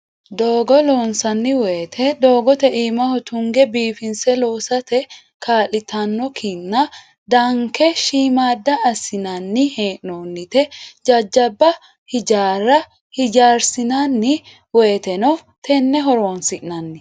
Doogo loonsanni woyte doogote iimaho tunge biifinse loosate kaa'littano ki'na danke shiimada assininanni hee'nonnite jajjabba hijaara hijaarsinanni woyteno tene horonsi'nanni .